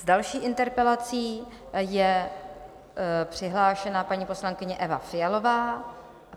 S další interpelací je přihlášena paní poslankyně Eva Fialová.